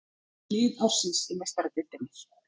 Lið ársins í Meistaradeildinni